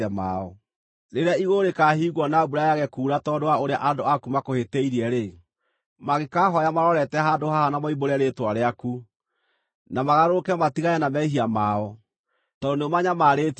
“Rĩrĩa igũrũ rĩkaahingwo na mbura yage kuura tondũ wa ũrĩa andũ aku makũhĩtĩirie-rĩ, mangĩkaahooya marorete handũ haha na moimbũre rĩĩtwa rĩaku, na magarũrũke matigane na mehia mao, tondũ nĩũmanyamarĩtie-rĩ,